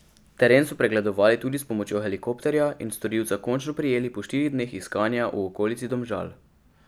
Teren so pregledovali tudi s pomočjo helikopterja in storilca končno prijeli po štirih dneh iskanja v okolici Domžal.